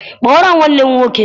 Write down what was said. Kpọọrọ m nwanne m nwoke!